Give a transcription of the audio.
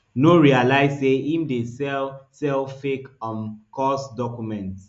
no realise say im dey sell sell fake um cos documents